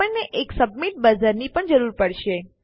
આપણને એક submit buzzer ની પણ જરૂર પડશે